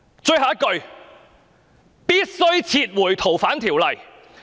"最後一句：必須撤回《逃犯條例》。